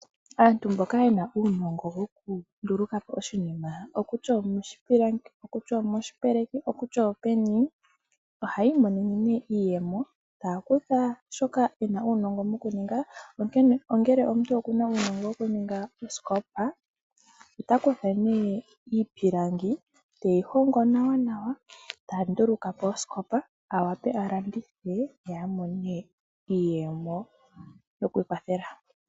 Aantu mboka yena uunongo woku nduluka po oshinima, okutya omoshipilangi, okutya omoshipeleki, okutya openi ohayi imonene nee iiyemo taya kutha shoka yena uunongo mokuninga, ongele omuntu oku na uunongo woku ninga oosikopa ota kutha nee iipilangi teyi hongo nawanawa ta nduluka po osikopa, a wape a landithe, ye a mone iiyemo yoku ikwathela.